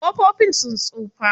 Ƙofofin sun tsufa.